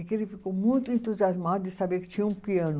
E que ele ficou muito entusiasmado de saber que tinha um piano.